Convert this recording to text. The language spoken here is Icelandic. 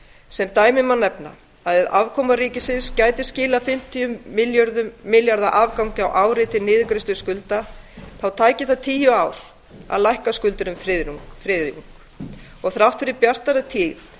sem dæmi má nefna að ef afkoma ríkissjóðs gæti skilað fimmtíu milljarða króna afgangi á ári til niðurgreiðslu skulda þá tæki það tíu ár að lækka skuldir um þriðjung þrátt fyrir bjartari tíð